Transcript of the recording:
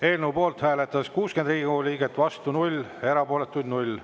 Eelnõu poolt hääletas 60 Riigikogu liiget, vastu 0 ja erapooletuid 0.